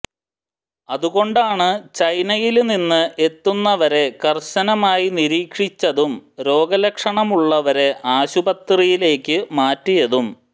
അതുകൊണ്ടാണ് ചൈനയില് നിന്ന് എത്തുന്നവരെ കര്ശനമായി നിരീക്ഷിച്ചതും രോഗ ലക്ഷണമുള്ളവരെ ആശുപത്രിയിലേക്ക് മാറ്റിയതും